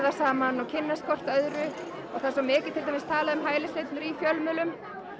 saman og kynnist hvort öðru það er svo mikið talað um hælisleitendur í fjölmiðlum